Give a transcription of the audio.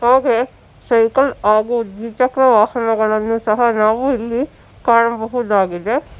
ಹಾಗೆ ಸೈಕಲ್ ಹಾಗೂ ದ್ವಿಚಕ್ರ ವಾಹನಗಳನ್ನು ಸಹ ನಾವು ಇಲ್ಲಿ ಕಾಣಬಹುದಾಗಿದೆ.